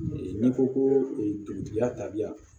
N'i ko ko dugutigiya taabiya